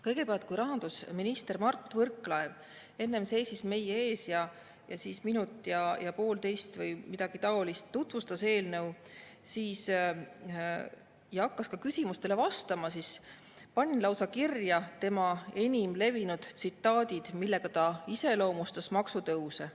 Kõigepealt, kui rahandusminister Mart Võrklaev enne seisis meie ees ning minut, poolteist või midagi taolist tutvustas eelnõu ja hakkas küsimustele vastama, siis panin lausa kirja tema enim levinud tsitaadid, millega ta iseloomustas maksutõuse.